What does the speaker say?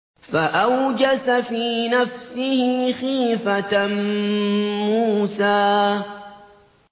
فَأَوْجَسَ فِي نَفْسِهِ خِيفَةً مُّوسَىٰ